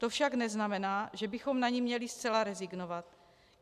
To však neznamená, že bychom na ni měli zcela rezignovat.